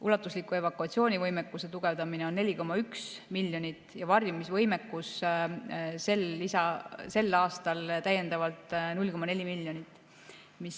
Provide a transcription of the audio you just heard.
Ulatusliku evakuatsioonivõimekuse tugevdamisele on 4,1 miljonit ja varjumisvõimekusele on sel aastal täiendavalt 0,4 miljonit.